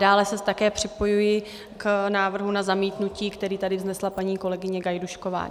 Dále se také připojuji k návrhu na zamítnutí, který tady vznesla paní kolegyně Gajdůšková.